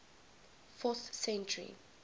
fourth century